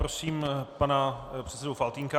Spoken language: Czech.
Prosím pana předsedu Faltýnka.